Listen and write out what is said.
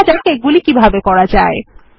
দেখা যাক এগুলি কিভাবে করা যায়